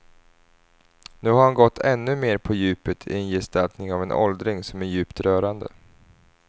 Nu har han gått ännu mer på djupet i en gestaltning av en åldring som är djupt rörande.